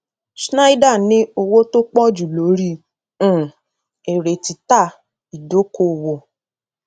schneider ní owó tó pọ jù lórí um èrè títà ìdókòwò